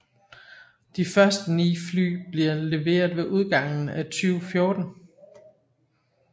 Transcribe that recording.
De første 9 fly bliver leveret ved udgangen af 2014